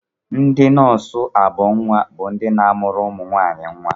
Ndị nọọsụ ọghọnnwa bụ ndị na-amụrụ ụmụnwaanyị nnwa